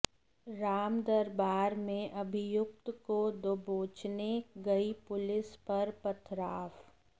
रामदरबार में अभियुक्त को दबोचने गई पुलिस पर पथराव